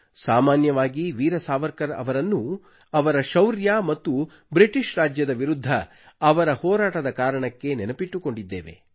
ಸಾಮಾನ್ಯವಾಗಿ ವೀರ ಸಾವರ್ಕರ್ ಅವರನ್ನು ಅವರ ಶೌರ್ಯ ಮತ್ತು ಬ್ರಿಟೀಷ್ ರಾಜ್ಯದ ವಿರುದ್ಧ ಅವರ ಹೋರಾಟದ ಕಾರಣಕ್ಕೆ ನೆನಪಿಟ್ಟುಕೊಂಡಿದ್ದೇವೆ